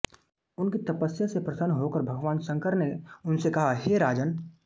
उनकी तपस्या से प्रसन्न होकर भगवान शंकर ने उनसे कहा कि हे राजन्